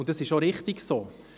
Dies ist richtig so.